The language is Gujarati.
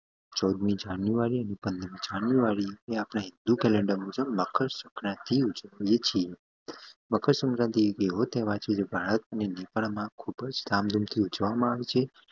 ચૌદમી જણુઑર્ય પંદરમી જાન્યુઆરી અપડે હિંદુ કેલેન્ડર અનુસાર મકર સંક્રાંતિ ઉજવીયે છીયે મકરસંક્રાંતિ એક એવો તહેવાર છે ધામ ધુમ થી ઉજવામાં આવે છે